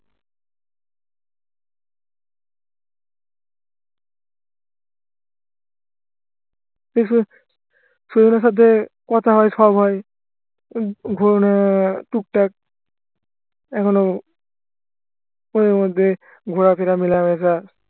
সাথে কথা হয় সব হয় উম টুকটাক এখনো মধ্যে ঘোরাফেরা মেলামেশা